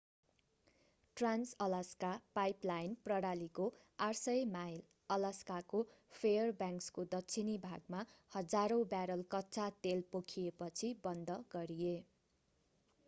Trans-Alaska pipeline प्रणालीको 800 mile अलास्काको फेयरब्याङ्क्सको दक्षिणी भागमा हजारौं ब्यारल कच्चा तेल पोखिएपछि बन्द गरिए